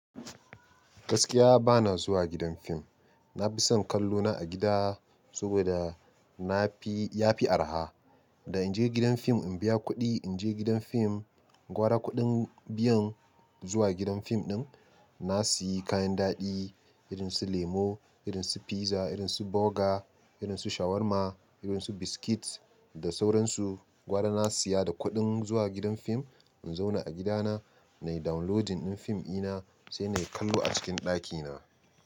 Gaskiya bana zuwa gidan fim. Na fi son kallo na a gida saboda na fi, ya fi araha. Da in je gidan fim in biya kuɗi, in je gidan fim gwara kuɗin biyan zuwa gidan fim ɗin. Na siyi kayan daɗi irin su lemo, irin su piza, irin su burger, irin su shawarma, irin su biskit da sauransu. Gwara na siya da kuɗin zuwa gidan fim in zauna a gida na, nayi downloading ɗin fim ina sai nayi kallo a cikin ɗaki na.